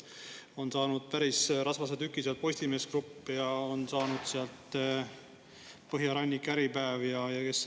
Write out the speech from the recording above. Sealt on saanud päris rasvase tüki Postimees Grupp ja on saanud sealt Põhjarannik, Äripäev ja – kes seal on?